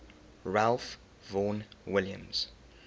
ralph vaughan williams